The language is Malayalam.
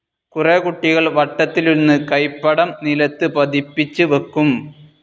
കുറേ കുട്ടികൾ വട്ടത്തിലിരുന്ന് കൈപ്പടം നിലത്ത് പതിപ്പിച്ച് വയ്ക്കും.